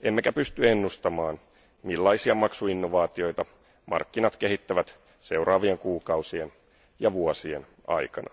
emmekä pysty ennustamaan, millaisia maksuinnovaatioita markkinat kehittävät seuraavien kuukausien ja vuosien aikana.